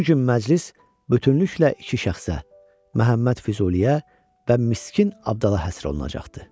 Bu gün məclis bütövlükdə iki şəxsə, Məhəmməd Füzuliyə və Miskin Abdala həsr olunacaqdır.